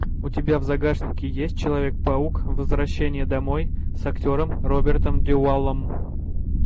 у тебя в загашнике есть человек паук возвращение домой с актером робертом дюваллом